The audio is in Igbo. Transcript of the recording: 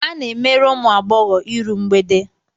A na-emere ụmụ agbọghọ iru mgbede.